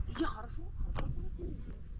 Yaxşı, yaxşı.